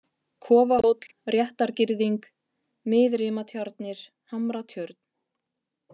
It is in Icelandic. Kofahóll, Réttargirðing, Miðrimatjarnir, Hamratjörn